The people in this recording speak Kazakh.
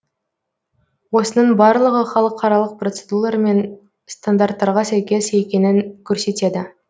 осының барлығы халықаралық процедулар мен стандарттарға сәйкес екенін көрсетеді